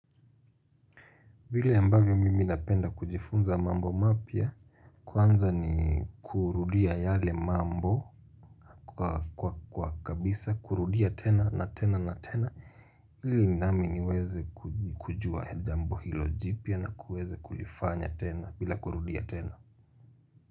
Vile ambavyo mimi napenda kujifunza mambo mapya kwanza ni kurudia yale mambo kwa kabisa kurudia tena na tena na tena ili nami niwezekujua jambo hilo jipya na kuweze kulifanya tena bila kurudia tena.